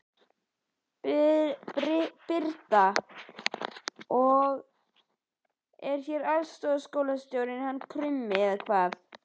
Birta: Og hérna er aðstoðarskólastjórinn hann Krummi eða hvað?